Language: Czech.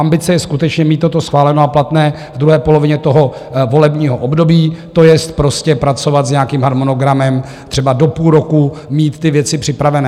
Ambice je skutečně mít toto schváleno a platné v druhé polovině tohoto volebního období, to jest, prostě pracovat s nějakým harmonogramem, třeba do půl roku mít ty věci připravené.